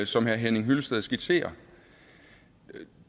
som herre henning hyllested skitserer